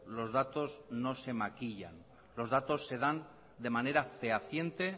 los datos no se maquillan los datos se dan de manera fehaciente